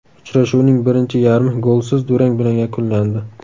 Uchrashuvning birinchi yarmi golsiz durang bilan yakunlandi.